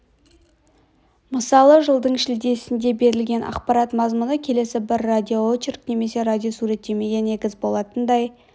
мысалы жылдың шілдесінде берілген ақпарат мазмұны келесі бір радиоочерк немесе радиосуреттемеге негіз болатындай